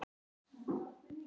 Við verðum að stoppa hann.